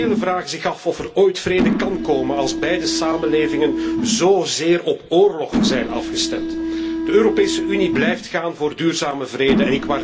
Velen vragen zich af of er ooit vrede kan komen als beide samenlevingen zozeer op oorlog afgestemd zijn. De Europese Unie blijft streven naar duurzame vrede.